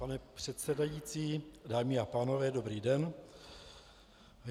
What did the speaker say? Pane předsedající, dámy a pánové, dobrý den.